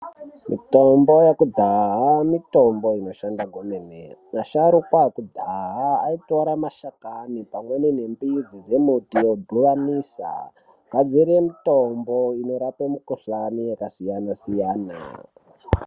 Mitombo yekudaya, mitombo inoshanda kwemene. Asharukwa akudaya ayitora mashakami pamweni nembidzi dzemuti wodibanisa kazere mitombo inorape mikhuhlane yakasiyana siyana.